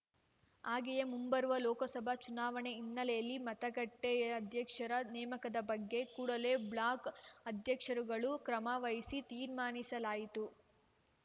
ಹಾಗೆಯೇ ಮುಂಬರುವ ಲೋಕಸಭಾ ಚುನಾವಣೆ ಹಿನ್ನೆಲೆಯಲ್ಲಿ ಮತಗಟ್ಟೆಅಧ್ಯಕ್ಷರ ನೇಮಕದ ಬಗ್ಗೆ ಕೂಡಲೇ ಬ್ಲಾಕ್‌ ಅಧ್ಯಕ್ಷರುಗಳು ಕ್ರಮ ವಹಿಸಲು ತೀರ್ಮಾನಿಸಲಾಯಿತು